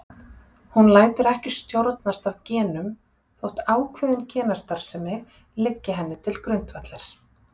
Hún lætur ekki stjórnast af genum þótt ákveðin genastarfsemi liggi henni til grundvallar.